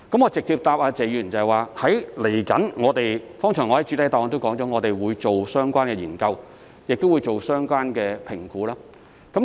我直接回答謝議員，我剛才在主體答覆也提到，我們將會進行相關研究和評估。